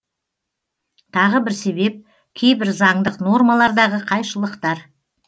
тағы бір себеп кейбір заңдық нормалардағы қайшылықтар